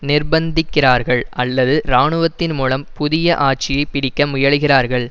நிர்ப்பந்திக்கிறார்கள் அல்லது இராணுவத்தின் மூலம் புதிய ஆட்சியை பிடிக்க முயலுகிறார்கள்